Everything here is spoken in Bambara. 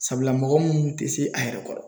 Sabula mɔgɔ munnu te se a yɛrɛ kɔrɔ